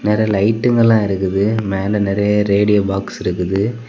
மேல லைட்டுங்களா இருக்குது மேல நரைய ரேடியோ பாக்ஸ் இருக்குது.